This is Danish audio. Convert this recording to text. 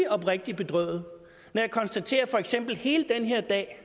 oprigtig bedrøvet når jeg konstaterer at for eksempel hele den her dag er